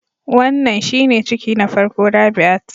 Wannan shine ciki na farko Rabiat